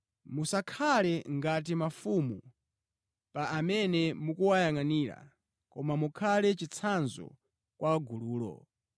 Musakhale ngati mafumu pa amene mukuwayangʼanira, koma mukhale chitsanzo kwa gululo.